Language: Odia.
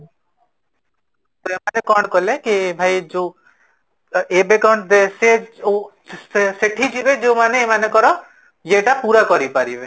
ତ ସେମାନେ କଣ କଲେ କି ଭାଇ ଯୋଉ ଏବେ କଣ ଯେ ସେ ସେଠି ଯିବେ ଯୋଉମାନେ ଏଇମାନଙ୍କର ୟେଟା ପୁରା କରି ପାରିବେ